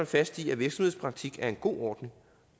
fast i at virksomhedspraktik er en god ordning